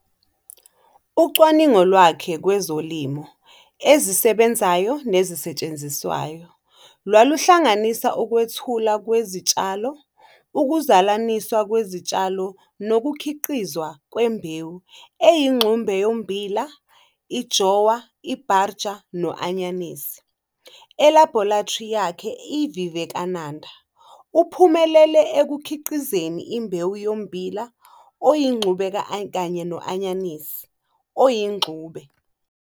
Ucwaningo lwakhe kwezolimo ezisebenzayo nezisetshenziswayo lwaluhlanganisa ukwethulwa kwezitshalo, ukuzalaniswa kwezitshalo nokukhiqizwa kwembewu eyingxube yommbila, i-jowar, i-bajra, no-anyanisi. Elabhorethri yakhe iVivekananda, uphumelele ekukhiqizeni imbewu yommbila oyingxube kanye no-anyanisi oyingxube.